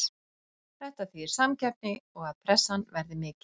Þetta þýðir samkeppni og að pressan verði mikil.